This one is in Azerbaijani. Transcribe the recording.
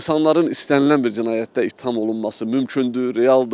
İnsanların istənilən bir cinayətdə ittiham olunması mümkündür, realdır.